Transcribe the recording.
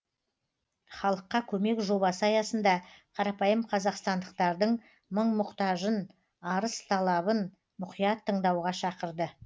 халыққа көмек жобасы аясында қарапайым қазақстандықтардың мың мұқтажын арыс талабын мұқият тыңдауға шақырды